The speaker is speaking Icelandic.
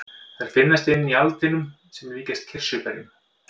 Þær finnast inni í aldinum sem líkjast kirsuberjum.